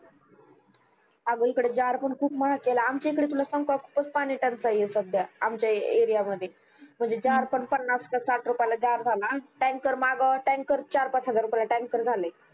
आग इकडे जार पण खुब महाग केले आमचा इकडे तुला सांगू का खूपच पानी टंचाई आहे सध्या आमच्या area मध्ये म्हणजे जार पण पन्नास का साठ रुपयाला जार झाला tanker मागव tanker चार पाच हजार रुपयाला tanker झालाय